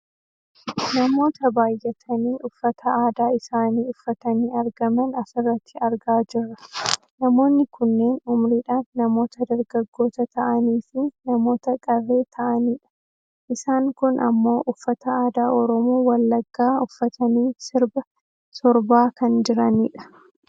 Namoota baayyatanii uffata aadaa isaanii uffatanii argaman asirratti argaa jirra. Namoonni kunneen umuriidhaan namoota dargaggoota ta'aniifi namoota qarree ta'anidha. Isaan kun ammoo uffata aadaa oromoo wallaggaa uffatanii sirba sorbaa kan jiranidha.